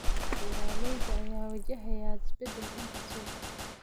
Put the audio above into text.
Beeraleyda ayaa wajahaya isbedel dhanka suuqa ah.